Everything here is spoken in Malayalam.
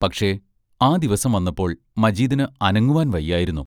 പക്ഷേ, ആ ദിവസം വന്നപ്പോൾ മജീദിന് അനങ്ങുവാൻ വയ്യായിരുന്നു.